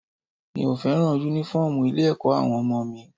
Mi ò fẹ́ràn Únífọ́ọ̀mù ilé-ẹ̀kọ́ àwọn ọmọ mi